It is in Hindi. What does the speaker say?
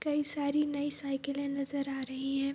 कई सारी नई साइकिलें नजर आ रही हैं।